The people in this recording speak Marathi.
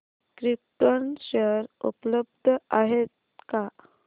क्रिप्टॉन शेअर उपलब्ध आहेत का